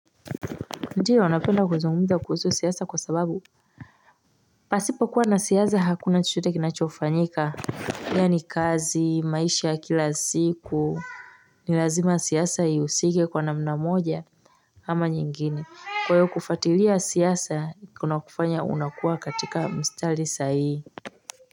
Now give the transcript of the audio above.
Ndiyo napenda kuzungumza kuhusu siyasa kwa sababu pasipo kuwa na siyasa hakuna chochote kinachofanyika yani kazi maisha ya kila siku Nilazima siyasa ihusike kwa namnamoja ama nyingine kwa hiyo kufatilia siyasa kuna kufanya unakua katika mstalisa hii.